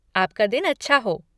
आपका दिन अच्छा हो!